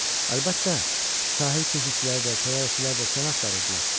Əlbəttə, sahil keşikçiləri də, təyyarəçilər də səni axtarırdılar.